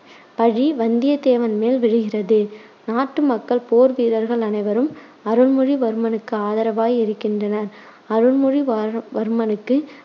பழி வந்தியதேவன் மேல் விழுகிறது. நாட்டு மக்கள், போர் வீரர்கள் அனைவரும் அருள்மொழிவர்மனுக்கு ஆதரவாய் இருக்கின்றனர். அருள்மொழிவா~ வர்மனுக்கு